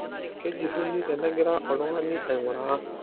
kejuruni tenegira oltung'ani aiguraa